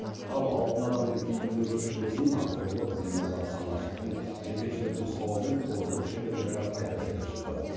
ал алтын адамның киімінің көшірмесін археолог зейнолла самашевтың жетекшілік нұсқауымен қолөнер шеберлері қайта тігіп шықты